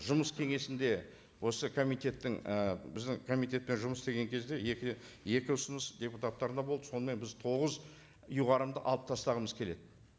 жұмыс кеңесінде осы комитеттің і біздің комитетпен жұмыс істеген кезде екі екі ұсыныс депутаттардан болды сонымен біз тоғыз ұйғарымды алып тастағымыз келеді